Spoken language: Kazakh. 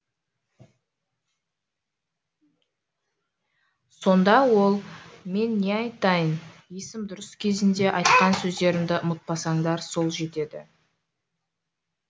сонда ол мен не айтайын есім дұрыс кезінде айтқан сөздерімді ұмытпасаңдар сол жетеді